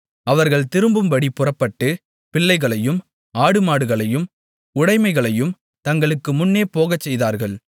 அவர்கள் திரும்பும்படிப் புறப்பட்டு பிள்ளைகளையும் ஆடுமாடுகளையும் உடைமைகளையும் தங்களுக்கு முன்னே போகச்செய்தார்கள்